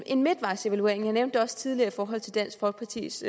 en midtvejsevaluering jeg nævnte det også tidligere i forhold til dansk folkepartis